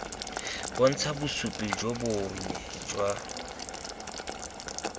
bontsha bosupi jo bonnye jwa